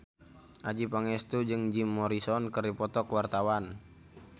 Adjie Pangestu jeung Jim Morrison keur dipoto ku wartawan